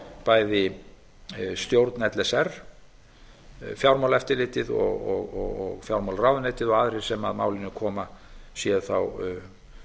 bæði stjórn l s r fjármálaeftirlitið og fjármálaráðuneytið og aðrir sem að málinu koma séu þá